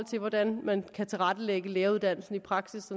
til hvordan man kan tilrettelægge læreruddannelsen i praksis